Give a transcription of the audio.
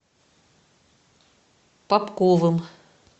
попковым